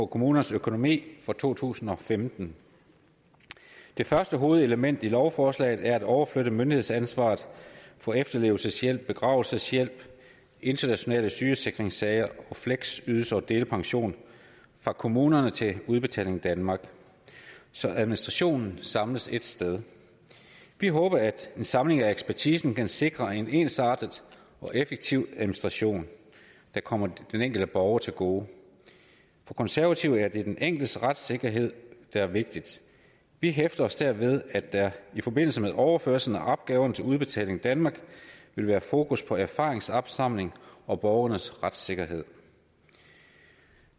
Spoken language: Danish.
kommunernes økonomi for to tusind og femten det første hovedelement i lovforslaget er at overflytte myndighedsansvaret for efterlevelseshjælp begravelseshjælp internationale sygesikringssager fleksydelse og delpension fra kommunerne til udbetaling danmark så administrationen samles ét sted vi håber at en samling af ekspertisen kan sikre en ensartet og effektiv administration der kommer den enkelte borger til gode for konservative er det den enkeltes retssikkerhed der er vigtig vi hæfter os derfor ved at der i forbindelse med overflyttelse af opgaverne til udbetaling danmark vil være fokus på erfaringsopsamling og borgerens retssikkerhed